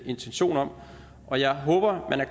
intention om og jeg håber